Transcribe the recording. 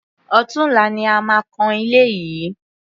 Ọ̀tunla ni a máa kan ilé yìí.